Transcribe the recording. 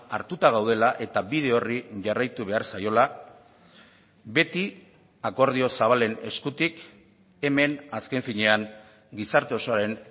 hartuta gaudela eta bide horri jarraitu behar zaiola beti akordio zabalen eskutik hemen azken finean gizarte osoaren